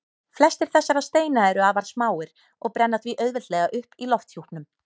Flestir þessara steina eru afar smáir og brenna því auðveldlega upp í lofthjúpnum.